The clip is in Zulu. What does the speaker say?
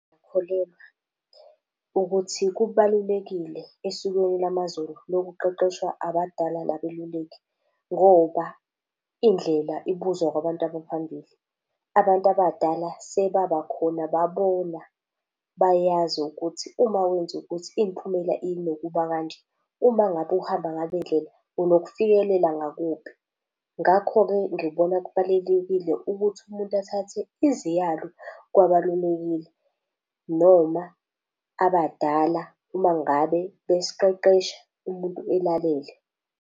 Ngiyakholelwa ukuthi kubalulekile esikweni lamaZulu lokuqeqeshwa abadala nabeluleki ngoba indlela ibuzwa kwabantu abaphambili. Abantu abadala sebabakhona babona, bayazi ukuthi uma wenza ukuthi imiphumela inokuba kanje, uma ngabe uhamba ngale ndlela unokufikelela ngakuphi. Ngakho-ke ngibona kubalulekile ukuthi umuntu athathe iziyalo kwabalulekile noma abadala uma ngabe besiqeqesha, umuntu elalele.